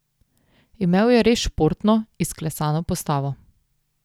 Imel je res športno, izklesano postavo.